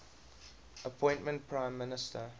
appointed prime minister